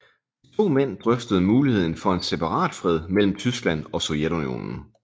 De to mænd drøftede muligheden for en separatfred mellem Tyskland og Sovjetunionen